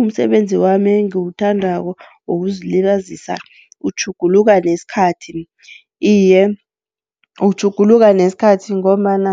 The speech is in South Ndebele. Umsebenzi wami engiwuthandako wokuzilibazisa utjhuguluka nesikhathi. Iye, utjhuguluka nesikhathi ngombana